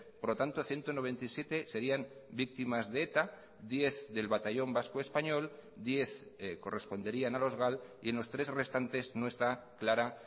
por lo tanto ciento noventa y siete serían víctimas de eta diez del batallón vasco español diez corresponderían a los gal y en los tres restantes no está clara